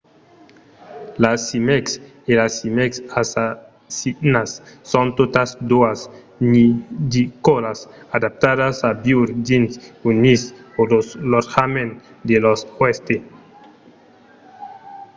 las címecs e las címecs assassinas son totas doas nidicòlas adaptadas a viure dins un nis o lo lotjament de lor òste